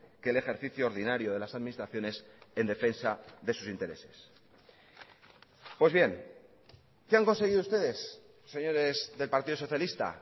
que el ejercicio ordinario de las administraciones en defensa de sus intereses pues bien qué han conseguido ustedes señores del partido socialista